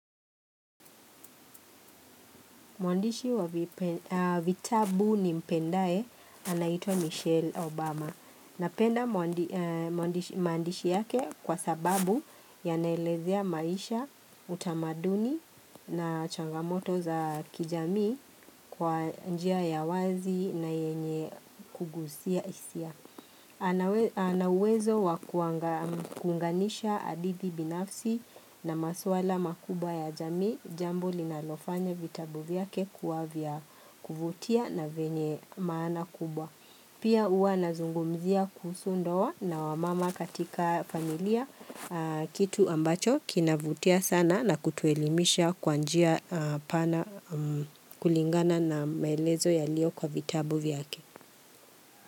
Mwandishi wa vitabu nimpendae anaitwa Michelle Obama. Napenda maandishi yake kwa sababu yanaelezea maisha, utamaduni na changamoto za kijamii kwa njia ya wazi na yenye kugusia hisia. Ana uwezo wa kuunganisha hadithi binafsi na maswala makubwa ya jamii jambo linalofanya vitabu vyake kuwa vya kuvutia na vyenye maana kubwa Pia hua nazungumzia kuhusu ndoa na wamama katika familia kitu ambacho kinavutia sana na kutuelimisha kwa njia pana kulingana na maelezo yalio kwa vitabu vyake.